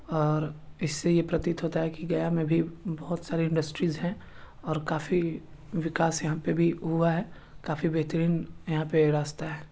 और इस से ये प्रतीत होता है की गया में भी बहुत सारे इंडस्ट्रीज है और काफी विकास यहाँ पे भी हुआ है काफी बेहतरीन यहाँ पे रास्ता है।